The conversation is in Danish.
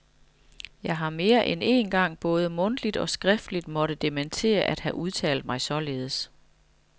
Jeg har mere end én gang både mundtligt og skriftligt måtte dementere at have udtalt mig således.